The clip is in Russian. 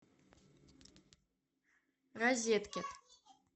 розетки